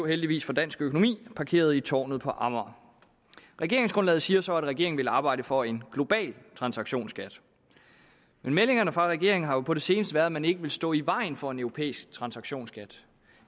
heldigvis for dansk økonomi blev parkeret i tårnet på amager regeringsgrundlaget siger så at regeringen vil arbejde for en global transaktionsskat men meldingerne fra regeringen har jo på det seneste været at man ikke vil stå i vejen for en europæisk transaktionsskat